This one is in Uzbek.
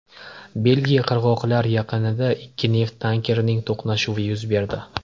Belgiya qirg‘oqlar yaqinida ikki neft tankerining to‘qnashuvi yuz berdi.